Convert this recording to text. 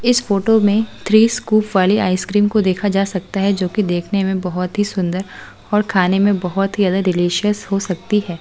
इस फोटो में three scoop वाली आइसक्रीम को देखा जा सकता है जो कि देखने में बहुत ही सुंदर और खाने में बहुत ही ज्यादा डिलीशियस हो सकती है।